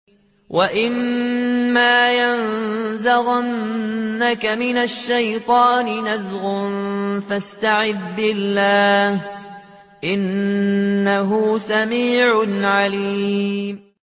وَإِمَّا يَنزَغَنَّكَ مِنَ الشَّيْطَانِ نَزْغٌ فَاسْتَعِذْ بِاللَّهِ ۚ إِنَّهُ سَمِيعٌ عَلِيمٌ